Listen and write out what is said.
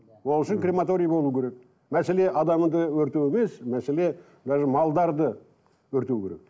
ол үшін крематорий болу керек мәселе адамды өртеу емес мәселе даже малдарды өртеу керек